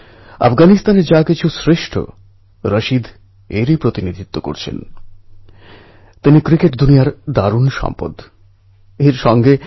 ওখানে গুহাতে যেতে এবং সেখান থেকে বেরিয়ে আসতে সাধারণভাবে কয়েক ঘণ্টা সময় লাগে